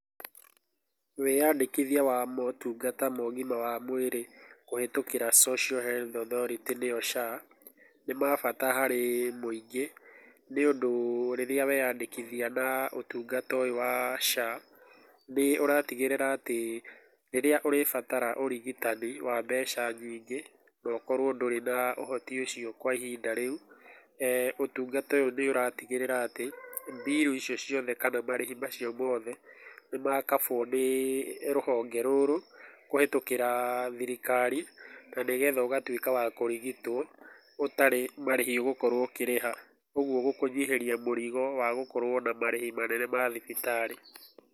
Wĩyandĩkithia wa motungata ma ũgima wa mwĩrĩ kũhĩtũkĩra social health authority nĩyo SHA, nĩ ma bata harĩ mũingĩ, nĩ ũndũ rĩrĩa weyandĩkithia na ũtungata ũyũ wa SHA, nĩ ũratigĩrĩra atĩ rĩrĩa ũrĩbatara ũrigitani wa mbeca nyingĩ no ũkorwo ndũrĩ na ũhoti ũcio kwa ihinda rĩu, ũtungata ũyũ nĩ ũratigĩrĩra atĩ, mbiru icio ciothe kana marĩhi macio mothe, nĩ makambwo nĩ rũhonge rũrũ kũhetũkĩra thirikari na nĩ getha ũgatuĩka wa kũrigitwo ũtarĩ marĩhi ũgũkorwo ũkĩrĩha. Ũguo gũkũnyihĩria mũrigo wa gũkorwo na marĩhi manene ma thibitarĩ.